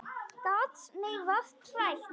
Gat mig vart hrært.